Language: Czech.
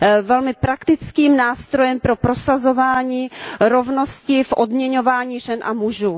velmi praktickým nástrojem pro prosazování rovnosti v odměňování žen a mužů.